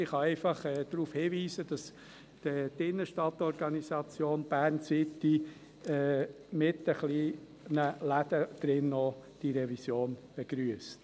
Ich kann einfach darauf hinweisen, dass die Innenstadt-Organisation «Bern City», auch mit den kleinen Läden, diese Revision begrüsst.